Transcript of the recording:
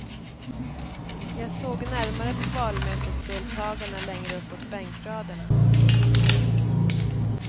Jag såg närmare på valmötesdeltagarna längre uppåt bänkraderna.